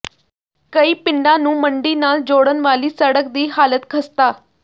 ਕਈ ਪਿੰਡਾਂ ਨੂੰ ਮੰਡੀ ਨਾਲ ਜੋੜਨ ਵਾਲੀ ਸੜਕ ਦੀ ਹਾਲਤ ਖ਼ਸਤਾ